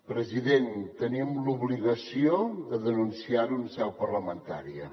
president tenim l’obligació de denunciar ho en seu parlamentària